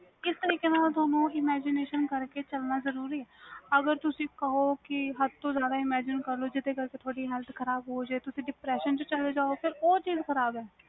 ਕਿਸ ਤਰੀਕੇ ਨਾਲ ਤੁਹਾਨੂੰ imagination ਕਰਕੇ ਚਲਣ ਜਰੂਰੀ ਵ ਅਗਰ ਤੁਸੀ ਕਹੋ ਕਿ ਹੱਦ ਤੋਂ ਜਿਆਦਾ imagination ਕਰ ਲੋ ਜੀਦੇ ਕਰਕੇ ਤੁਹਾਡੀ health ਖਰਾਬ ਹੋ ਜੇ ਤੇ ਤੁਸੀ depression ਚ ਚਲੇ ਜਾਓ ਉਹ ਚੀਜ਼ ਖ਼ਰਾਬ ਏ